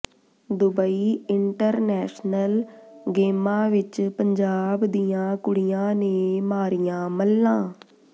Dubai international ਗੇਮਾਂ ਵਿਚ ਪੰਜਾਬ ਦੀਆਂ ਕੁੜੀਆਂ ਨੇ ਮਾਰੀਆਂ ਮੱਲਾਂ